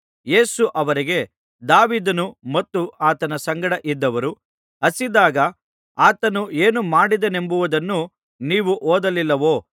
ಯೇಸು ಅವರಿಗೆ ದಾವೀದನು ಮತ್ತು ಆತನ ಸಂಗಡ ಇದ್ದವರೂ ಹಸಿದಿದ್ದಾಗ ಆತನು ಏನು ಮಾಡಿದನೆಂಬುದನ್ನು ನೀವು ಓದಲಿಲ್ಲವೋ